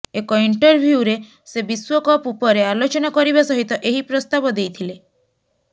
ଏକ ଇଣ୍ଟରଭ୍ୟୁରେ ସେ ବିଶ୍ୱକପ ଉପରେ ଆଲୋଚନା କରିବା ସହିତ ଏହି ପ୍ରସ୍ତାବ ଦେଇଥିଲେ